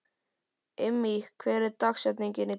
Immý, hver er dagsetningin í dag?